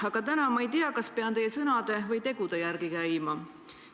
Aga täna ma ei tea, kas pean teie sõnade või tegude järgi käima.